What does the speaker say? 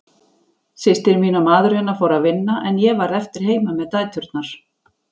Systir mín og maður hennar fóru að vinna en ég varð eftir heima með dæturnar.